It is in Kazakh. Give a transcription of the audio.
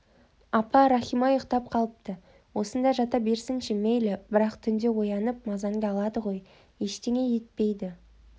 апа рахима ұйықтап қалыпты осында жата берсінші мейлі бірақ түнде оянып мазаңды алады ғой ештеңе етпейді